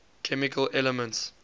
chemical elements